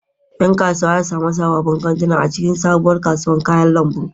Yan kasuwa za su sami sababbin kantuna a cikin sabuwar kasuwar kayan lambu.